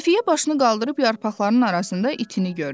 Xəfiyyə başını qaldırıb yarpaqların arasından itini gördü.